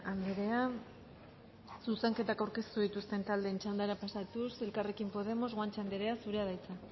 andrea zuzenketak aurkeztu dituzten taldeen txandara pasatuz elkarrekin podemos guanche andrea zurea da hitza